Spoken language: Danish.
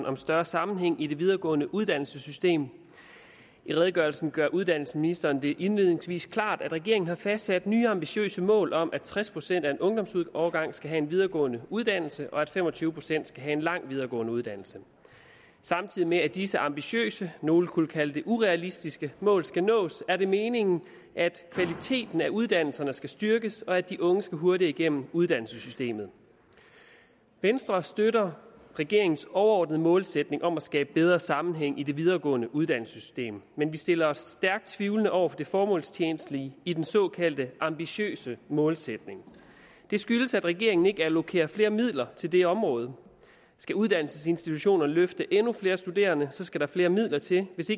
om større sammenhæng i det videregående uddannelsessystem i redegørelsen gør uddannelsesministeren det indledningsvis klart at regeringen har fastsat nye ambitiøse mål om at tres procent af en ungdomsårgang skal have en videregående uddannelse og at fem og tyve procent skal have en lang videregående uddannelse samtidig med at disse ambitiøse nogle kunne kalde det urealistiske mål skal nås er det meningen at kvaliteten af uddannelserne skal styrkes og at de unge skal hurtigere igennem uddannelsessystemet venstre støtter regeringens overordnede målsætning om at skabe bedre sammenhæng i det videregående uddannelsessystem men vi stiller os stærkt tvivlende over for det formålstjenlige i den såkaldt ambitiøse målsætning det skyldes at regeringen ikke allokerer flere midler til det område skal uddannelsesinstitutionerne løfte endnu flere studerende skal der flere midler til hvis